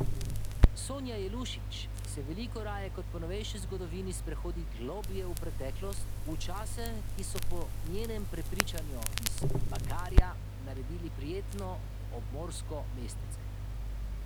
Sonja Jelušić se veliko raje kot po novejši zgodovini sprehodi globlje v preteklost, v čase, ki so po njenem prepričanju iz Bakarja naredili prijetno obmorsko mestece.